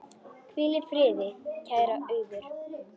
Hvíl í friði, kæra Auður.